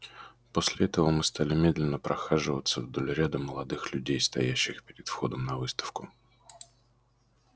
после этого мы стали медленно прохаживаться вдоль ряда молодых людей стоящих перед входом на выставку